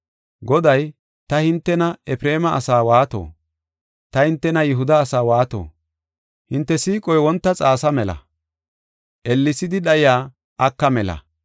Goday, “Ta hintena Efreema asaa waato? Ta hintena Yihuda asaa waato? Hinte siiqoy wonta xaasa mela; ellesidi dhayiya aka mela.